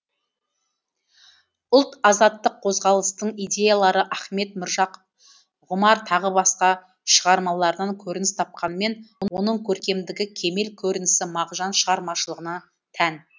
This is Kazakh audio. ұлт азаттық қозғалыстың идеялары ахмет міржақып ғұмар тағы басқа шығармаларынан көрініс тапқанымен оның көркемдігі кемел көрінісі мағжан шығармашылығына тән